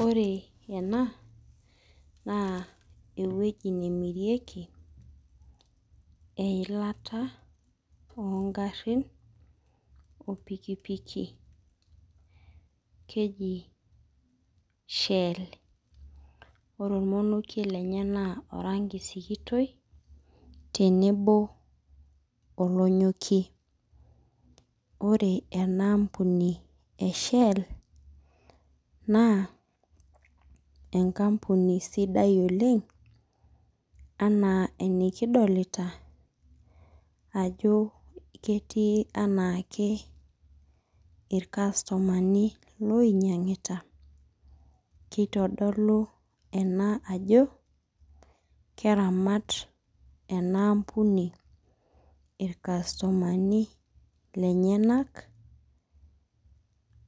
Ore ena, naa ewueji nemirieki eilata ogarrin o pikipiki. Keji Shell. Ore ormonokie lenye naa oranki sikitoi, tenebo olonyokie. Ore ena ampuni e Shell, naa enkampuni sidai oleng, anaa enikidolta ajo ketii enaake irkastomani loinyang'ita, kitodolu ena ajo, keramat enaampuni irkastomani lenyanak,